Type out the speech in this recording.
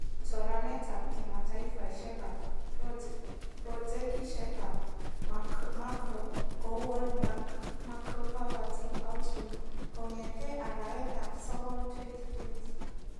Choranetab kimataifeshekab projekishek ab Macro kou World Bank Macro Povetry Outlook kongetee arawetab sokol 2020